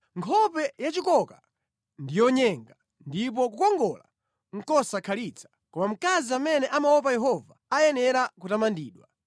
Nkhope yachikoka ndi yonyenga, ndipo kukongola nʼkosakhalitsa; koma mkazi amene amaopa Yehova ayenera kutamandidwa.